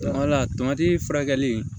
furakɛli